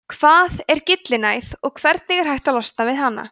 hvað er gyllinæð og hvernig er hægt að losna við hana